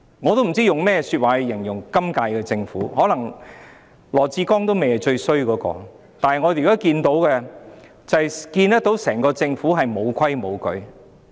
我不知道可用甚麼說話去形容今屆政府，可能羅致光局長也不是最差的那個，但我們現在看到整個政府完全"無規無矩"。